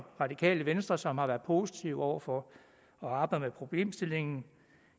radikale venstre som har været positive over for at arbejde med problemstillingen